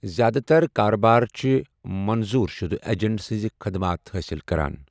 زیادٕتر كاربٲرِ چھِ منظور شُدٕ ایجنٹ سنزٕ خدمات حٲصل كران ۔